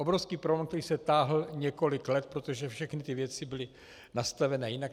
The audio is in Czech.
Obrovský problém, který se táhl několik let, protože všechny ty věci byly nastaveny jinak.